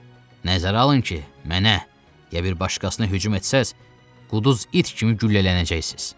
Nəzərə alın ki, mənə ya bir başqasına hücum etsəniz, quduz it kimi güllələnəcəksiz.